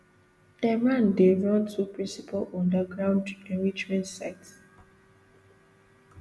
tehran dey run two principal underground enrichment sites